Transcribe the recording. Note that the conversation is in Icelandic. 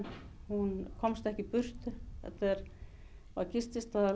hún komst ekki í burtu gististaðurinn